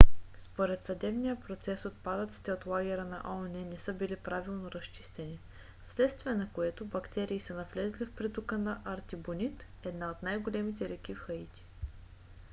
според съдебния процес отпадъците от лагера на оон не са били правилно разчистени вследствие на което бактерии са навлезли в притока на артибонит една от най-големите реки в хаити